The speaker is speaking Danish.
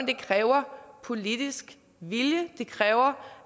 det kræver politisk vilje det kræver